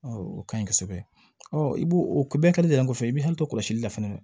o kaɲi kosɛbɛ i b'o o bɛɛ kɛlen dalen kɔfɛ i bɛ hakili to kɔlɔsili la fana